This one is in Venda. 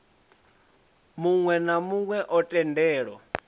muwe na muwe o tendelwa